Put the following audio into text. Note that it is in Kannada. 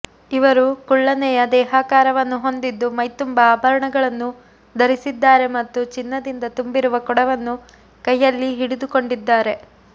ಇವರು ಕುಳ್ಳನೆಯ ದೇಹಾಕಾರವನ್ನು ಹೊಂದಿದ್ದು ಮೈತುಂಬಾ ಆಭರಣಗಳನ್ನು ಧರಿಸಿದ್ದಾರೆ ಮತ್ತು ಚಿನ್ನದಿಂದ ತುಂಬಿರುವ ಕೊಡವನ್ನು ಕೈಯಲ್ಲಿ ಹಿಡಿದುಕೊಂಡಿದ್ದಾರೆ